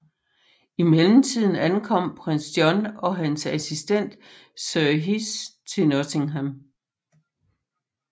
I mellemtiden ankommer Prins John og hans assistent Sir Hiss til Nottingham